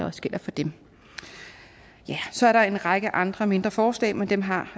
også gælder for dem så er der en række andre mindre forslag men dem har